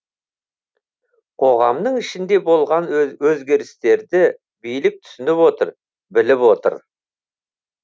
қоғамның ішінде болған өзгерістерді билік түсініп отыр біліп отыр